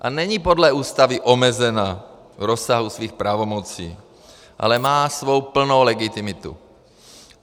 A není podle Ústavy omezena v rozsahu svých pravomocí, ale má svou plnou legitimitu.